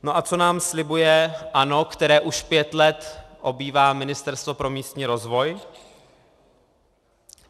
No a co nám slibuje ANO, které už pět let obývá Ministerstvo pro místní rozvoj?